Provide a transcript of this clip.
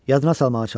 Yaddına salmağa çalış!